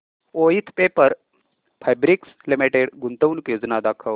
Voith Paper Fabrics Limited गुंतवणूक योजना दाखव